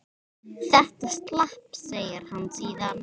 Þetta slapp, segir hann síðan.